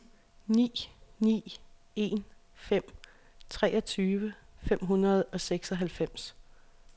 ni ni en fem treogtyve fem hundrede og seksoghalvfems